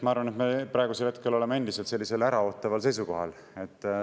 Ma arvan, et me praegusel hetkel oleme endiselt äraootaval seisukohal.